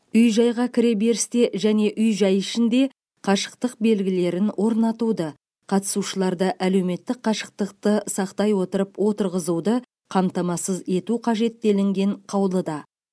үй жайға кіреберісте және үй жай ішінде қашықтық белгілерін орнатуды қатысушыларды әлеуметтік қашықтықты сақтай отырып отырғызуды қамтамасыз ету қажет делінген қаулыда